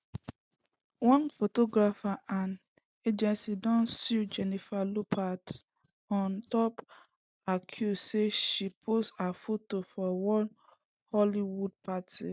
one photographer and im agency don sue jennifer lopez on top accuse say she post her fotos for one hollywood party